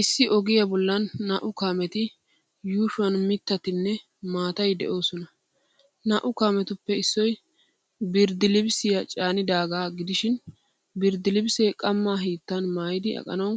Issi ogiyaa bollan naa''u kaameti yuushuwan mittatinne maatay de'oosona. Naa''u kaametuppe issoy birddilibisiyaa caanidaagaa gidishin, birddilibilisee qammaa hiittan maayidi aqanawu,